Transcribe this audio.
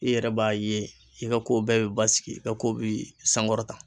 I yɛrɛ b'a ye i ka kow bɛɛ bɛ basigi, i ka ko bi sankɔrɔta.